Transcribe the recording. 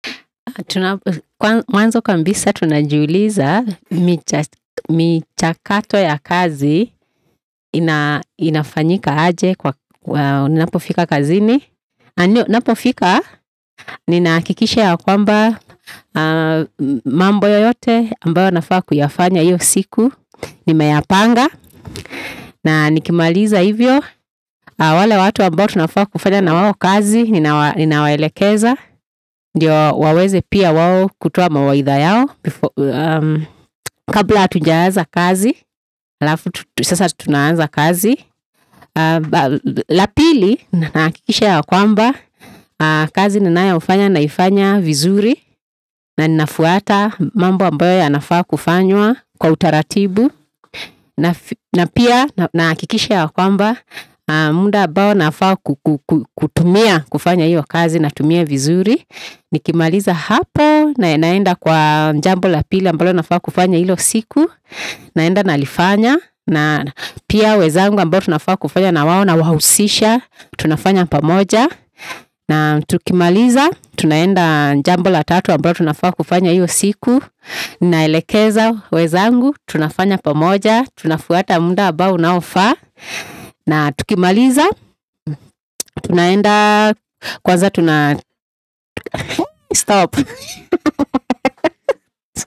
Mwanzo kabisa tunajuliza mi chakato ya kazi inafanyika aje nipofika kazini Ninapofika ninahakikisha yakwamba mambo yoyote ambayo nafaa kuya anya iyo siku Nimeyapanga na niki maaliza iyo, wale watuwa mbo tunafaa kufanya na waho kazi, ni na waelikeza Ndio waweze pia wao kutoa mawaidha yao Kabla hatujanza kazi, halafu tu sasa tunaanza kazi Lapili, ninahakikisha ya kwamba, kazi nina yoifanya naifanya vizuri na ninafuwata, mambo ambayo ya nafaa kufanywa kwa utaratibu nahakikisha ya kwamba, na munda ambayo nafaa kutumia kufanya iyo kazi na tumia vizuri Niki maliza hapo, naenaenda kwa njambo lapili ambalo nafaa kufanya iyo siku naenda na lifanya, na pia wezangu ambayo nafaa kufanya na waho na wausisha, tunafanya pamoja na tukimaliza, tunaenda njambo latatu ambalo nafaa kufanya iyo siku ni naelekeza wenzangu, tunafanya pamoja, tunafuwata muda ambao unaofaa na tuki maliza, tunaenda kwanza tuna.